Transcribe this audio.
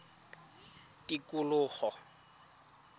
tikologo